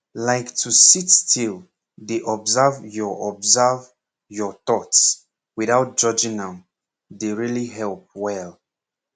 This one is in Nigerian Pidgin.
like to sit still dey observe your observe your thoughts without judging am really dey help well